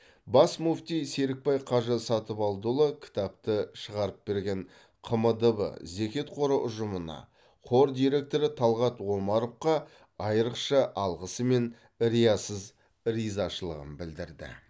бас мүфти серікбай қажы сатыбалдыұлы кітапты шығарып берген қмдб зекет қоры ұжымына қор директоры талғат омаровқа айрықша алғысы мен риясыз ризашылығын білдірді